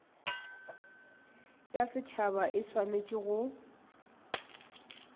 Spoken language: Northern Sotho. ya setšhaba e swanetše go